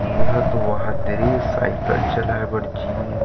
यह तो वह तरी साइकिल चलाय बर जीम --